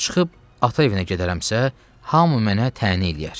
Çıxıb ata evinə gedərəmsə, hamı mənə təhni eləyər.